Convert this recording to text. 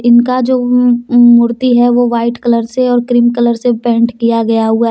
उनका जो मूर्ति है वो वाइट कलर से और क्रीम कलर के पेंट किया गया हुआ है।